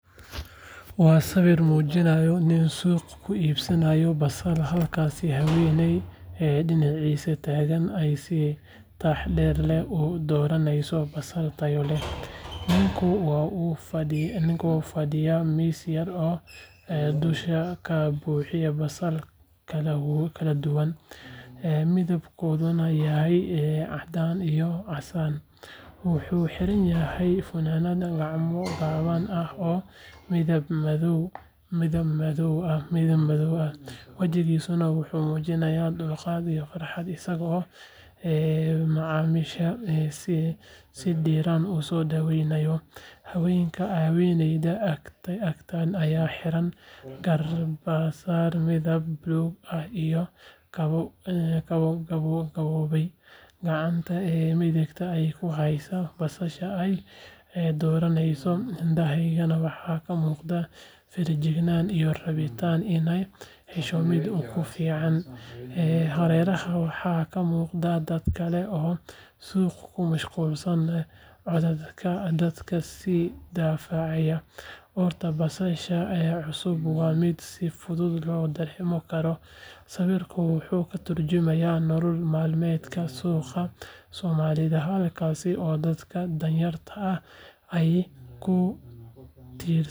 Waa sawir muujinaya nin suuq ku iibinaya basal halka haweeney dhiniciisa taagan ay si taxaddar leh u dooranayso basal tayo leh. Ninku waxa uu fadhiyaa miis yar oo uu dusha ka buuxiyey basal kala duwan, midabkooduna yahay caddaan iyo casaan. Wuxuu xiranyahay funaanad gacmo gaaban ah oo midab madow ah, wejigiisuna wuxuu muujinayaa dulqaad iyo farxad, isagoo macaamiisha si diirran u soo dhaweynaya. Haweeneyda agtaagan ayaa xiran garbasaar midab buluug ah iyo kabo gaboobay, gacanta midigna ku haysa basasha ay dooranayso. Indhaheeda waxa ka muuqata feejignaan iyo rabitaan inay hesho midda ugu fiican. Hareeraha waxaa ka muuqda dad kale oo suuq ku mashquulsan, codadka dadku is dhaafayaan, urta basasha cusubna waa mid si fudud loo dareemi karo. Sawirku wuxuu ka turjumayaa nolol maalmeedka suuqyada Soomaalida, halkaas oo dadka danyarta ah ay ku tiirsan yihiin.